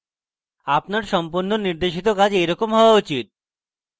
আপনার সম্পন্ন নির্দেশিত কাজ এইরকম হওয়া উচিত